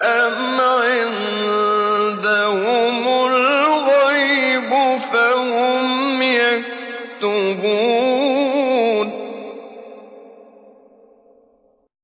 أَمْ عِندَهُمُ الْغَيْبُ فَهُمْ يَكْتُبُونَ